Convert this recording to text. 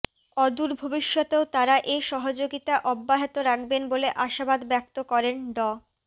অদূর ভবিষ্যতেও তারা এ সহযোগিতা অব্যাহত রাখবেন বলে আশাবাদ ব্যক্ত করেন ড